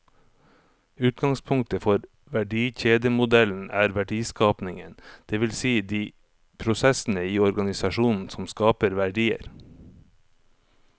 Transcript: Utgangspunktet for verdikjedemodellen er verdiskapingen, det vil si de prosessene i organisasjonen som skaper verdier.